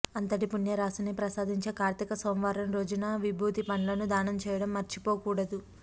అంతటి పుణ్యరాశిని ప్రసాదించే కార్తీక సోమవారం రోజున విభూతి పండ్లను దానం చేయడం మరిచిపోకూడదు